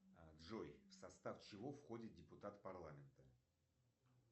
джой в состав чего входит депутат парламента